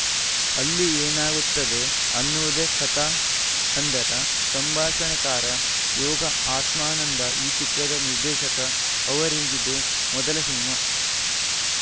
ಅಲ್ಲಿ ಏನಾಗುತ್ತದೆ ಅನ್ನುವುದೇ ಕಥಾ ಹಂದರ ಸಂಭಾಷಣೆಕಾರ ಯೋಗ ಆತ್ಮಾನಂದ ಈ ಚಿತ್ರದ ನಿರ್ದೇಶಕ ಅವರಿಗಿದು ಮೊದಲ ಸಿನಿಮಾ